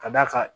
Ka d'a kan